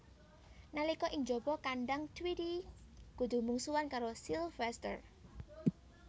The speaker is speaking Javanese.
Nalika ing jaba kandhang Tweety kudu mungsuhan karo Sylvester